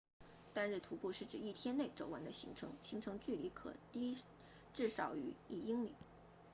单日徒步是指一天内走完的行程行程距离可低至少于一英里